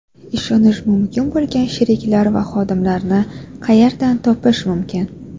Ishonish mumkin bo‘lgan sheriklar va xodimlarni qayerdan topish mumkin?